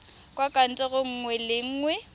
kwa kantorong nngwe le nngwe